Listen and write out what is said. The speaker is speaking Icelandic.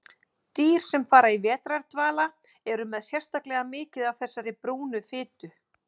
Dýr sem fara í vetrardvala eru með sérstaklega mikið af þessari brúnu fitu.